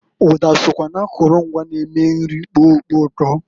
Uda sokwa na akulu ngwa n-eme nri kpoo ukpo uto.